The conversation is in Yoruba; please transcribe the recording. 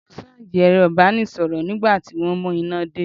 Mo ṣáàjì ẹ̀rọ ìbánisọ̀rọ̀ nígbà tí wọ́n mú iná dé.